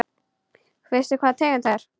Veistu hvaða tegund það er?